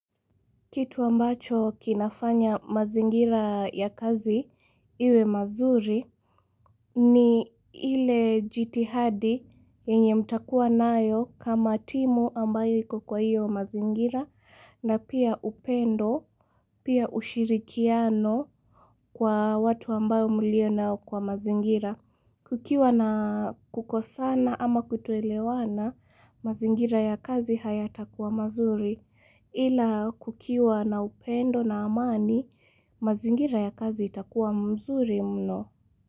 Kitu ambacho kinafanya mazingira ya kazi iwe mazuri ni ile jitihadi yenye mtakua nayo kama timu ambayo iko kwa iyo mazingira, na pia upendo, pia ushirikiano kwa watu ambao mlio nao kwa mazingira. Kukiwa na kukosan ama kutoelewana mazingira ya kazi hayatakua mazuri. Ila kukiwa na upendo na amani mazingira ya kazi yatakuwa mzuri mno.